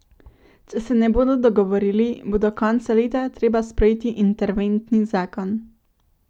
Če se ne bodo dogovorili, bo do konca leta treba sprejeti interventni zakon.